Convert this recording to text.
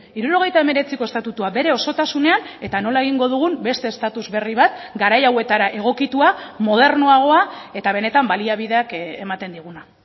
hirurogeita hemeretziko estatutua bere osotasunean eta nola egingo dugun beste estatus berri bat garai hauetara egokitua modernoagoa eta benetan baliabideak ematen diguna